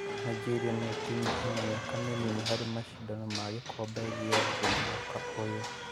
Nigeria nĩo timũ ĩna mĩaka mĩnini harĩ macindano ma gĩkombe gĩa thĩ mwaka ũyũ.